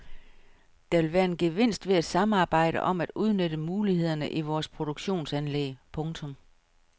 Der vil være en gevinst ved at samarbejde om at udnytte mulighederne i vores produktionsanlæg. punktum